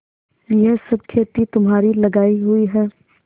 यह सब खेती तुम्हारी लगायी हुई है